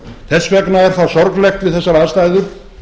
þess vegna er það sorglegt við þessar aðstæður